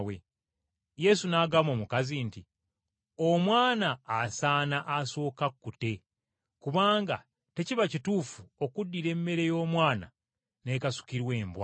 Yesu n’agamba omukazi nti, “Omwana asaana asoke akkute, kubanga tekiba kituufu okuddira emmere y’omwana okugisuulira embwa.”